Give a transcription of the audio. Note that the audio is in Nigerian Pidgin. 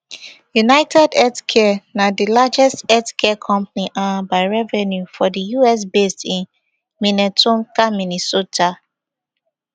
unitedhealthcare na di largest health care company um by revenue for di us based in minnetonka minnesota